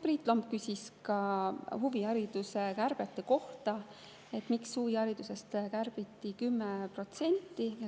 Priit Lomp küsis ka huvihariduse kärbete kohta, miks huviharidusest kärbiti 10%.